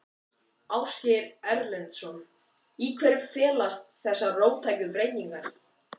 Ásgeir Erlendsson: Í hverju felast þessar róttæku breytingar?